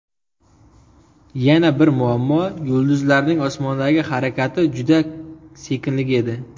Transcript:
Yana bir muammo yulduzlarning osmondagi harakati juda sekinligi edi.